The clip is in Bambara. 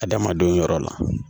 Adamadenw yɔrɔ la